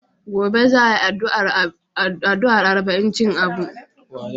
Gobe za a yi ardu'a arba'incin Abu.